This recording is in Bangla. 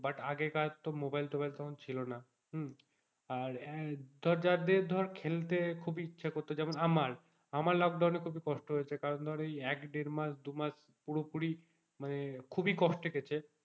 but আগেকার তো মোবাইল টবাইল তখন ছিল না হম আর ধর যাদের ধরে খেলতে খুব ই ইচ্ছে করতো যেমন আমার আমার লোকডাউনে খুব ই কষ্ট হয়েছে কারণ ধর এই এক দেড় মাস দুমাস পুরোপুরি মানে খুব ই কষ্টে গেছে,